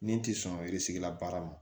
Ni ti sɔn la baara ma